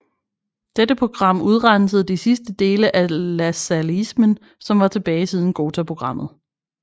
Dette program udrensede de sidste dele af lassalleismen som var tilbage siden Ghotaprogrammet